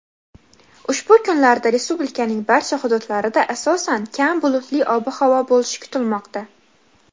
Ushbu kunlarda respublikaning barcha hududlarida asosan kam bulutli ob-havo bo‘lishi kutilmoqda.